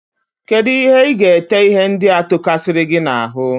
Kedụ ihe iga-ete ihe ndị a tokasiri gị n'ahụ.?